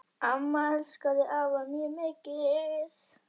Amma elskaði afa mjög mikið.